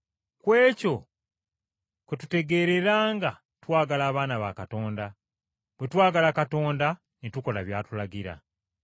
Ku ekyo kwe tutegeerera nga twagala abaana ba Katonda, bwe twagala Katonda ne tukola by’atulagira.